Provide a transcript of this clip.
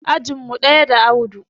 Ajin mu ɗaya da Audu